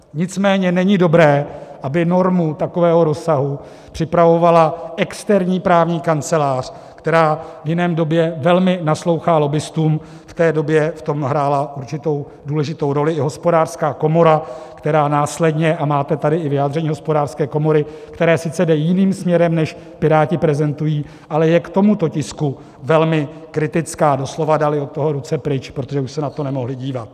Nicméně není dobré, aby normu takového rozsahu připravovala externí právní kancelář, která v jiné době velmi naslouchá lobbistům, v té době v tom hrála určitou důležitou roli i Hospodářská komora, která následně, a máte tady i vyjádření Hospodářské komory, které sice jde jiným směrem, než Piráti prezentují, ale je k tomuto tisku velmi kritická, doslova dali od toho ruce pryč, protože už se na to nemohli dívat.